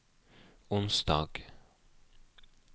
onsdag